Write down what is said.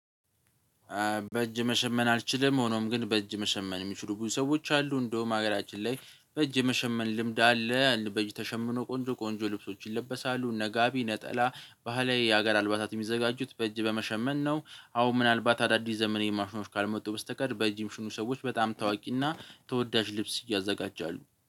በእጅ መሸመን አልችልም ሆኖም ግን በእጅ መሸመን የሚችሉ ብዙ ሰዎች አሉ እንደውም ሀገራችን ላይ በእጅ መሸመን ልምድ አለ በእጅ ተሸምኖ ቆንጆ ቆንጆ ልብሶች ይለበሳሉ ለጋቢ ነጠላ ባህላዊ የሀገር አልባታት የሚዘጋጁት በእጅ በመሸመን ነው። አሁን ምናልባት አዳዲስ ዘመኔ ማሽኖች ካልመጡ በስተቀር በእጅም ሽኑ ሰዎች በጣም ታዋቂና ተወዳጅ ልብስ እያዘጋጃሉ።